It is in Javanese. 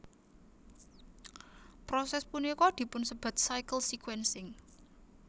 Proses punika dipunsebat cycle sequencing